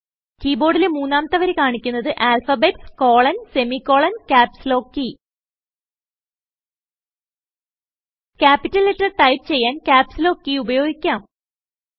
key ബോർഡിലെ മൂന്നാമത്തെ വരി കാണിക്കുന്നത് alphabets colon semicolon caps lock key capital letter type ചെയ്യാൻ ക്യാപ്സ് ലോക്ക് keyഉപയോഗിക്കാം